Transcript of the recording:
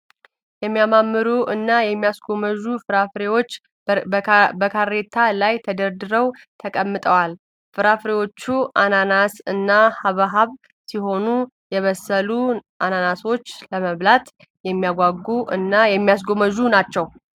የሚያማምሩ እና የሚያስጎመዡ ፍራፍሬዎች በካሬታ ላይ ተደርድረው ተቀምጠዋል። ፍራፍሬዎቹ አናናስ እና ሃብሃብ ሲሆን የበሰሉት አናናሶች ለመብላት የሚያጓጉ እና የሚያስጎመዡ ናቸው።